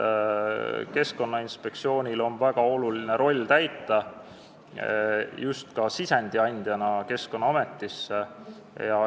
Keskkonnainspektsioonil on täita väga oluline roll ka sisendi andjana Keskkonnaametisse.